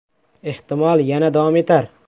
Ehtimol, yana davom etar.